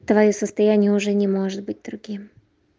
твоё состояние уже не может быть другим